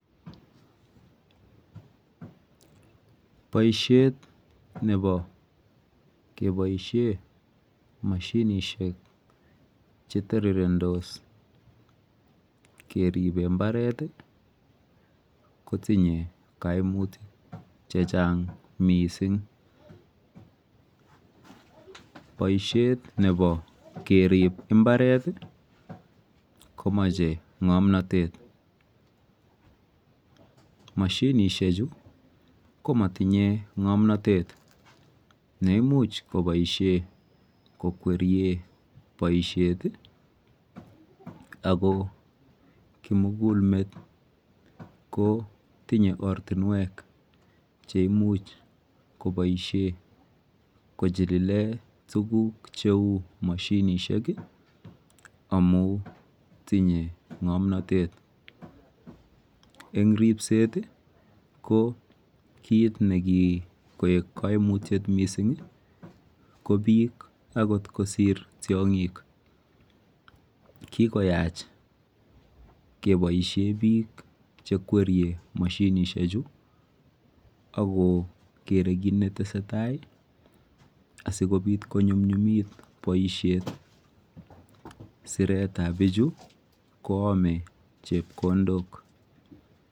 Boisiet nebo keboisie mashinishek chetorirendos keribe mbaret kotinye kaimutik chechang mising. Boisiet nebo kerib mbare3t komache ng'omnatet. Mashinishechu ko matinye ng'omnatet neimuch koboisie kokwerie boisiet ako kimugulmet kotinye ortinwek cheimuch koboisie kochilile tuguk cheu mashinishek amu tinye ng'omnatet. Eng ribset ko kit nekikoek kaimutiet ko biik akot kosiir tiong"ik. Kikioyach keboisie biik chekwerie mashinishechu akokere kiit netesetai asikobiit konyumnyumit boisiet. Siretabichu koome chepkondok.